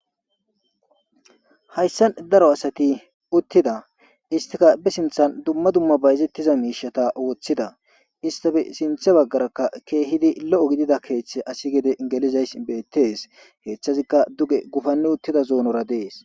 Haysan daro asati utida isstika be sinthan dumma dumma bayzetiza mishata othida isstape sintha bagaraka